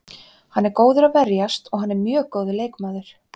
Hann er góður að verjast og hann er mjög góður leikmaður.